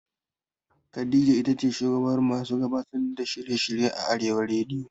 Khadija itace shugabar masu gabatar da shirye shirye a arewa rediyo